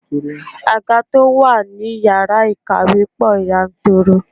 Àga to wá ní ìyára ìkàwé pò yanturu.